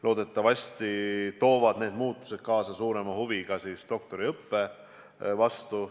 Loodetavasti toovad need muutused kaasa ka suurema huvi doktoriõppe vastu.